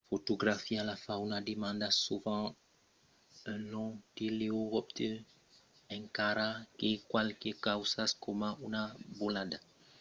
fotografiar la fauna demanda sovent un long teleobjectiu encara que qualques causas coma una volada d’aucèls o una creatura minuscula necessiten d’autres objectius